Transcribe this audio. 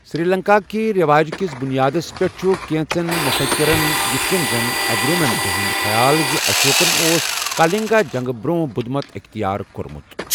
سری لنکا کِہ رٮ۪واج کِس بنیادس پٮ۪ٹھ، چھٗ، کینٛژن مٗفكِرن ،یتھ کٔنہِ زَن ایگرمونٹ، ہنٛد خیال زِ اشوکن اوس كالنگا جنگہٕ برونٛہہ بدٗھ مت اختیار کو٘رمٗت ۔